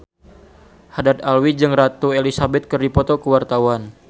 Haddad Alwi jeung Ratu Elizabeth keur dipoto ku wartawan